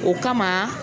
O kama